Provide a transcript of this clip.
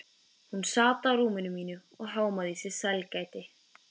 Hún sat á rúminu mínu og hámaði í sig sælgætið.